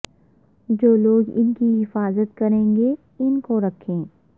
جو لوگ ان کی حفاظت کریں گے ان کو رکھیں